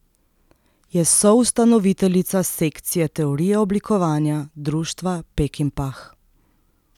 Je soustanoviteljica sekcije teorije oblikovanja Društva Pekinpah.